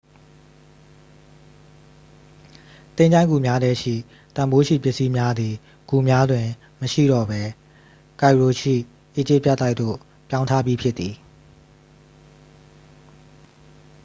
သင်္ချိုင်းဂူများထဲရှိ တန်ဖိုးရှိပစ္စည်းများသည် ဂူများတွင်မရှိတော့ပဲ ကိုင်ရိုရှိ အီဂျစ် ပြတိုက်သို့ ပြောင်းထားပြီးဖြစ်သည်